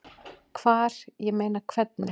Hvar, ég meina. hvernig?